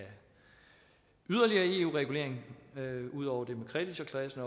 yderligere eu regulering ud over det med kreditorklassen